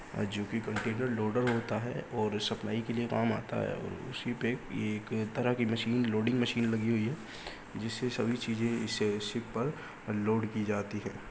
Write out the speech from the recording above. जो कि container loader होता है और सप्लाई के लिए काम आता है। उसी पे ये एक तरह की मशीन लोडिंग मशीन लगी हुई है। जिससे सभी चीज़े इससे शिप पर लोड की जाती है ।